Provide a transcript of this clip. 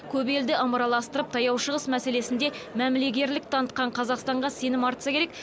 көп елді ымыраластырып таяу шығыс мәселесінде мәмілегерлік танытқан қазақстанға сенім артса керек